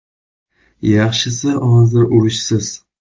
Yaxshisi hozir, urushsiz.